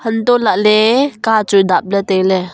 untoh lah ley kachu dapley tailey.